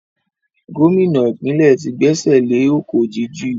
Gómìnà ìpínlẹ̀ tí gbé ẹsẹ̀ le ọ̀kọ̀ jíjù